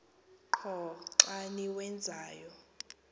qho xa niwenzayo